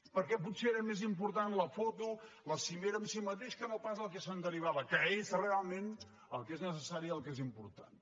perquè potser era més important la foto la cimera en si mateixa que no pas el que se’n derivava que és realment el que és necessari i el que és important